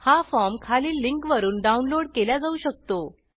हा फॉर्म खालील लिंक वरुन डाउनलोड केल्या जाऊ शकतो